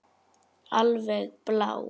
Alveg blá.